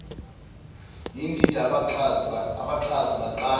yindida abaxhasi baqala